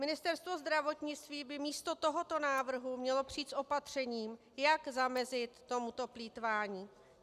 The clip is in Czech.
Ministerstvo zdravotnictví by místo tohoto návrhu mělo přijít s opatřením, jak zamezit tomuto plýtvání.